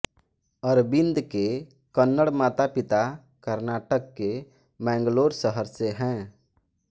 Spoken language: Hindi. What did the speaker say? अरविन्द के कन्नड़ मातापिता कर्नाटक के मैंगलोर शहर से हैं